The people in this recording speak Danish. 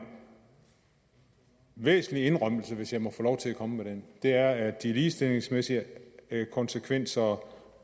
væsentlig indrømmelse hvis jeg må få lov til at komme med den det er at de ligestillingsmæssige konsekvenser